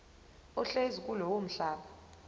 ohlezi kulowo mhlaba